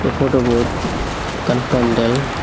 ei photo bod ekkan pandal.